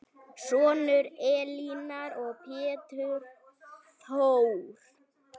Sonur Elínar er Pétur Þór.